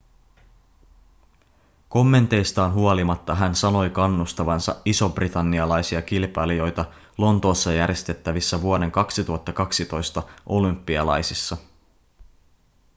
kommenteistaan huolimatta hän sanoi kannustavansa isobritannialaisia kilpailijoita lontoossa järjestettävissä vuoden 2012 olympialaisissa